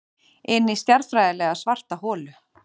Inní stjarnfræðilega svarta holu.